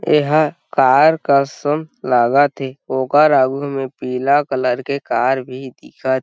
एहाँ कार का सम लागथे ओकर आगू में पीला कलर के कार भी दिखत --